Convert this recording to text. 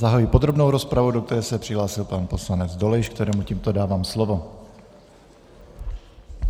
Zahajuji podrobnou rozpravu, do které se přihlásil pan poslanec Dolejš, kterému tímto dávám slovo.